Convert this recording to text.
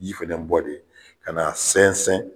Ji fɛnɛ bɔ de ka na sɛnsɛn